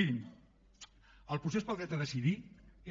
mirin el procés pel dret a decidir